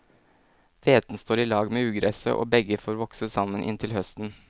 Hveten står i lag med ugresset, og begge får vokse sammen inntil høsten.